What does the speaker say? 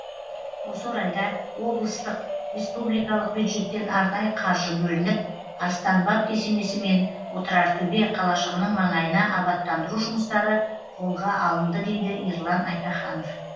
осы орайда облыстық республикалық бюджеттен арнайы қаржы бөлініп арыстанбаб кесенесі мен отырартөбе қалашығының маңайына абаттандыру жұмыстары қолға алынды дейді ерлан айтаханов